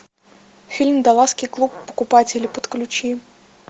фильм далласский клуб покупателей подключи